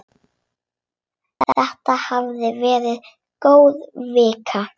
Þetta hafði verið góð vika.